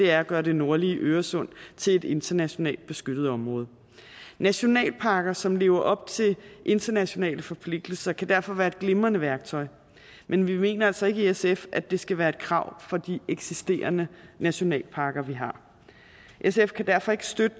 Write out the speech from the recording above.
er at gøre den nordlige øresund til et internationalt beskyttet område nationalparker som lever op til internationale forpligtelser kan derfor være et glimrende værktøj men vi mener altså ikke i sf at det skal være et krav for de eksisterende nationalparker vi har sf kan derfor ikke støtte